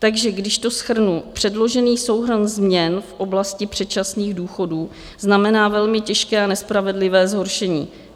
Takže když to shrnu, předložený souhrn změn v oblasti předčasných důchodů znamená velmi těžké a nespravedlivé zhoršení.